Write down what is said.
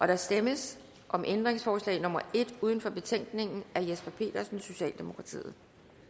der stemmes om ændringsforslag nummer en uden for betænkningen af jesper petersen socialdemokratiet